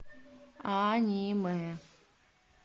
аниме